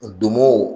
Donmo